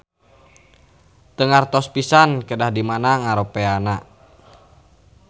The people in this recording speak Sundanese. Teu ngartos pisan kedah di mana ngaropeana